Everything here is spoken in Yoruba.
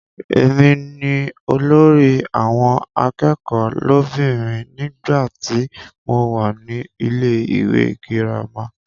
Èmi ni olórí àwọn akẹ́kọ̀ọ́ lóbìnrin nígbàtí mo wà ní ilé-ìwé girama.